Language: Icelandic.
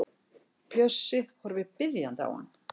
Bjössi horfir biðjandi á hann.